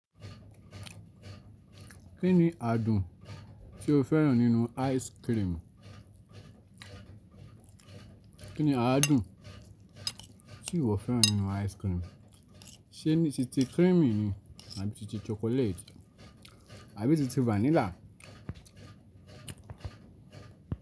Kí ni àdùn tí o fẹ́ràn nínú ice cream? Kí ni àádùn tí ìwọ fẹ́ràn nínú ice cream? Ṣé ni ti ri cream ni? Àbí ti ti chocolate? Àbí ti ti vanilla?